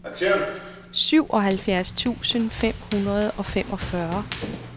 syvoghalvfjerds tusind fem hundrede og femogfyrre